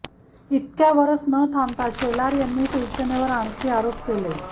इतक्यावरच न थांबता शेलार यांनी शिवसेनेवर आणखी आरोप केले